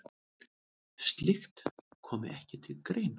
Slíkt komi ekki til greina.